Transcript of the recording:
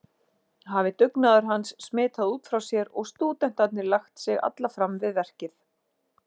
Hafi dugnaður hans smitað út frá sér og stúdentarnir lagt sig alla fram við verkið.